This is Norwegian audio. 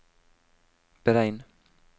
beregn